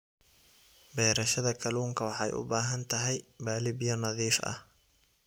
Beerashada kalluunka waxay u baahan tahay balli biyo nadiif ah.